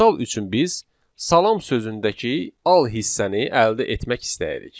Misal üçün biz salam sözündəki al hissəni əldə etmək istəyirik.